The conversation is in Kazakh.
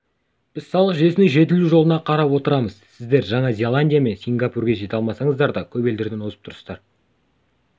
біз салық жүйесінің жетілу жолына қарап отырамыз сіздер жаңа зеландия мен сингапурге жете алмасаңыздар да көп елдерден озып тұрсыздар